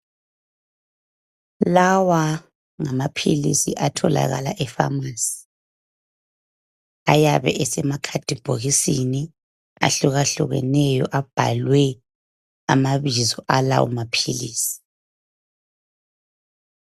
Lawangamaphilisi atholakala epharmacy ayabe esemkhadibhokisini ahlukahlukeneyo abhalwe amabizo alawo maphilisi.